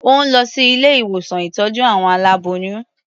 Ó ń lọ sí ilé-ìwòsán ìtọ́jú àwọn aláboyún.